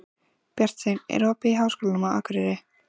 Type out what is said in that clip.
Bjarnsteinn, er opið í Háskólanum á Akureyri?